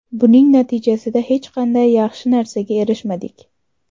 Buning natijasida hech qanday yaxshi narsaga erishmadik.